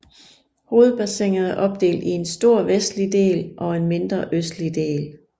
Hovedbassinet er opdelt i en stor vestlig del og en mindre østlig del